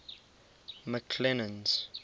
mcclennan's